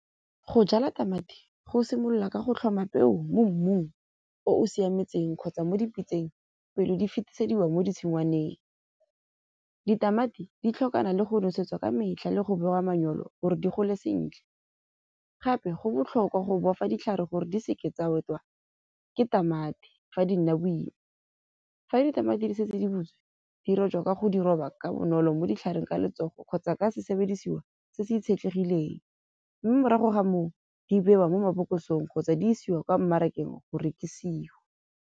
Go jala tamati go simolola ka go tlhoma peo mo mmung o o siametseng kgotsa mo dipitseng pele di fetisediwa mo ditshingwaneng. Ditamati di tlhokana le go nosetswa ka metlha le go bewa manyalo hore di gole sentle. Gape go botlhokwa go bofa ditlhare gore di seke tsa otlwa ke tamati fa di nna boima. Fa ditamati di se di le di rojwa ka go di roba ka bonolo mo ditlhareng ka letsogo, kgotsa ka sesebedisuwa se se itshetlegileng. Teng morago ga moo di bewa mo mabokosong kgotsa di isiwa kwa mmarakeng go rekisiwa.